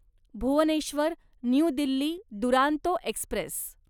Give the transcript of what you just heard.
Bhubaneswar new Delhi Duronto Express